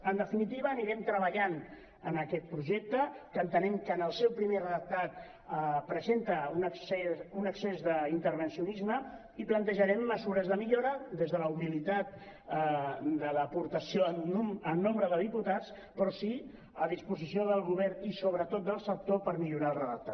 en definitiva anirem treballant en aquest projecte que entenem que en el seu primer redactat presenta un excés d’intervencionisme i plantejarem mesures de millora des de la humilitat de l’aportació en nombre de diputats però sí a disposició del govern i sobretot del sector per millorar el redactat